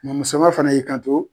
Mɔnmusoma fana y'i kanto